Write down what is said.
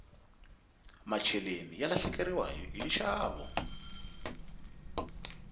macheleni ya lahlekeriwa hi nxavo